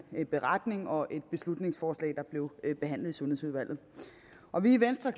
beretning og et beslutningsforslag der blev behandlet i sundhedsudvalget og vi i venstre